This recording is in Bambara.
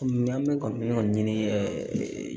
an bɛ ka min ɲini